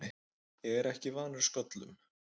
Ég er ekki vanur sköllum.